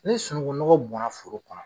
Ne sunuŋu nɔgɔ bɔnna foro kɔnɔ